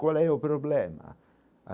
Qual é o problema?